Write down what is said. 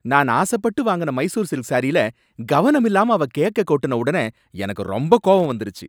நான் ஆசைப்பட்டு வாங்குன மைசூர் சில்க் சாரியில, கவனமில்லாம அவ கேக்க கொட்டுன உடனே எனக்கு ரொம்ப கோவம் வந்துருச்சு!